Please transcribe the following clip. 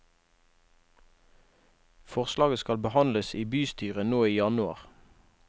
Forslaget skal behandles i bystyret nå i januar.